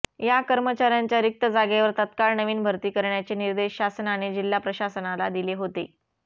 या कर्मचार्यांच्या रिक्त जागेवर तत्काळ नवीन भरती करण्याचे निर्देश शासनाने जिल्हा प्रशासनाला दिले होते